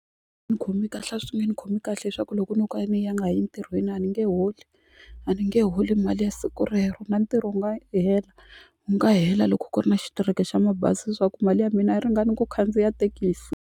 Ni khomi kahle a swi nge ni khomi kahle leswaku loko no ka ni nga yi entirhweni a ni nge holi a ni nge holi mali ya siku rero na ntirho wu nga hela wu nga hela loko ku ri na xitereke xa mabazi leswaku mali ya mina a yi ringani ku khandziya thekisi.